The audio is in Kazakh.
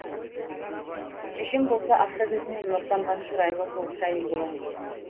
шешем болса ақша жүзінен нұр тамған шырайлы толықша әйел болатын